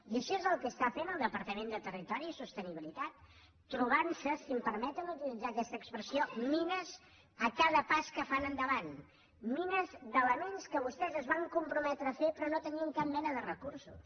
i això és el que està fent el departament de territori i sostenibilitat trobant se si em permeten utilitzar aquesta expressió mines a cada pas que fan endavant mines d’elements que vostès es van comprometre a fer però no tenien cap mena de recursos